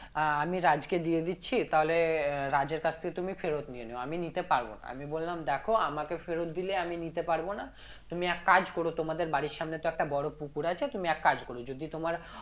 আহ আমি রাজকে দিয়ে দিচ্ছি তাহলে আহ রাজের কাছ থেকে তুমি ফেরত নিয়ে নিও আমি নিতে পারবো না আমি বললাম দেখো আমাকে ফেরত দিলে আমি নিতে পারবো না তুমি এক কাজ করো তোমাদের বাড়ির সামনে তো একটা বড়ো পুকুর আছে তুমি এক কাজ করো যদি তোমার